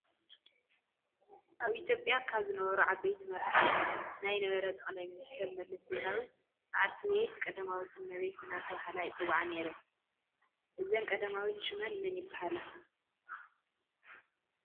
አብ ኢትዮጲያ ካብ ዝነበሩ ዓበይቲ መራሕቲ ናይ ነበረ ጠቅላይ ሚኒስተር መለስ ዜናዊ ባልትቤት ቀዳማዊት እመቤት እናተባህላ ይፀዋዓ ነይረን ።እዚን ቀዳማዊት ሽመን መን ይበሃላ?